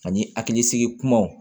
Ani hakilisigi kumaw